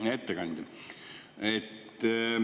Hea ettekandja!